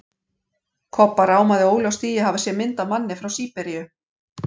Kobba rámaði óljóst í að hafa séð mynd af manni frá SÍBERÍU.